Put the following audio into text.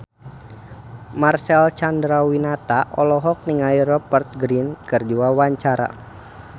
Marcel Chandrawinata olohok ningali Rupert Grin keur diwawancara